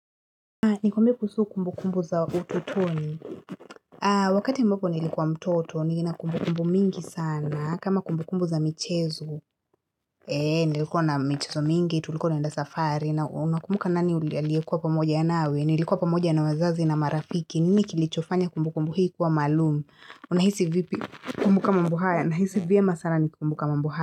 Nikuamibie kuhusu kumbu kumbu za ututoni. Wakati mboko nilikuwa mtoto, nilikuwa kumbu mingi sana. Kama kumbu kumbu za michezo, nilikuwa na michezo mingi, tulikuwa na enda safari. Na unakumbu kanani uliyekua pamoja ya nawe. Nilikuwa pamoja ya na wzazi na marafiki. Nini kilichofanya kumbu kumbu hii kuwa malumu. Unahisi vipi kumbu kumbu kumbu haya. Nahisi vipi kumbu kumbu kumbu haya.